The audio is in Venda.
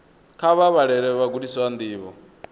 kha vha vhalele vhagudiswa ndivho